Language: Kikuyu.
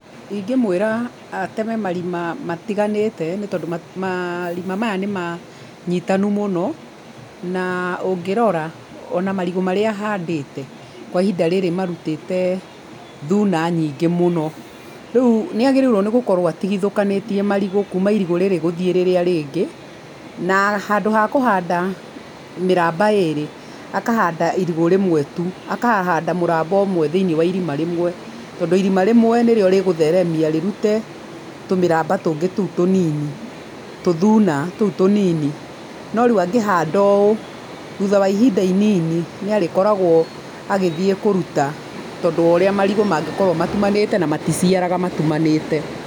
Ingĩ mwĩra ateme marima matiganĩte tondũ marima maya nĩ manyitanu mũno na ũngĩrora ona marigũ marĩa ahandĩte kwa ihinda rĩrĩ marutĩte thuna nyingĩ mũno, rĩu nĩ agĩrĩurwo gũkorwo atigithũkanĩtie marigũ kuma irigũ rĩrĩ nginya gũthiĩ rĩrĩa rĩngĩ na handũ ha kũhanda mĩrmba ĩrĩ akahanda irigũ rĩmwe tu, akahanda mũramba ũmwe thĩinĩ wa irima rĩmwe tondũ irima rĩmwe nĩ rĩo rĩgũtheremia rĩrute tũmĩramba tũngĩ tũu tũnini, tũthuna tũu tũnini, no rĩu angĩhanda ũũ thutha wa ihinda inini nĩ akoragwo agĩthiĩ kũruta tondũ wa ũrĩa marigũ mangĩkorwo matumanĩte na maticiaraga matumanĩte.